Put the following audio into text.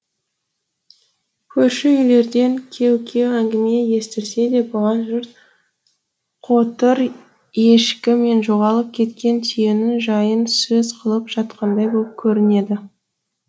көрші үйлерден кеу кеу әңгіме естілсе де бұған жұрт қотыр ешкі мен жоғалып кеткен түйенің жайын сөз қылып жатқандай боп көрінеді